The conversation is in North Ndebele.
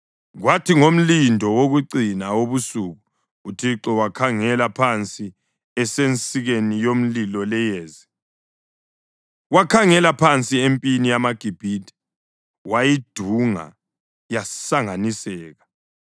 Kwathi ngomlindo wokucina wobusuku uThixo wakhangela phansi esensikeni yomlilo leyezi, wakhangela phansi empini yamaGibhithe wayidunga yasanganiseka.